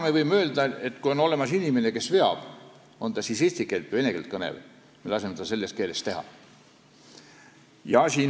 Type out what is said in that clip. Me võime öelda, et kui on olemas inimene, kes seda asja veab, on ta siis eesti või vene keelt kõnelev, siis me laseme tal seda selles keeles teha.